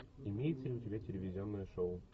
имеется ли у тебя телевизионное шоу